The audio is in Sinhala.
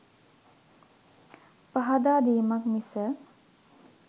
පහදා දීමක් මිස